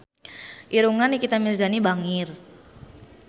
Irungna Nikita Mirzani bangir